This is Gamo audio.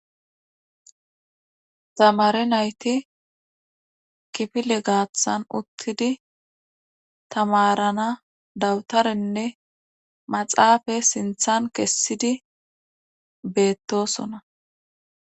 tamare nayti kifile gaathan uttidi tamarana dawutarenne maxaafa sinthan kessidi beettosona